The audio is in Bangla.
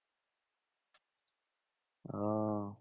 ও